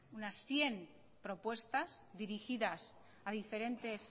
unas cien propuestas dirigidas a diferentes